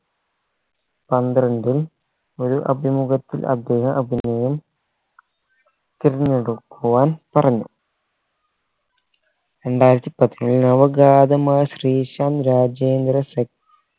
പന്ത്രണ്ടിൽ ഒരു അഭിമുഖത്തിൽ അദ്ദേഹം അഭിനയം തിരഞ്ഞെടുക്കുവാൻ പറഞ്ഞു രണ്ടായിരത്തി പതിനേഴിൽ നവഗാതമായ ശ്രീശാന്ത് രാജേന്ദ്ര സെ